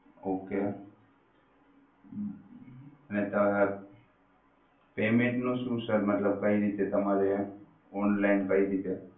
okay payment નું sir મતલબ કઈ રીતે તમારે online કઈ રીતે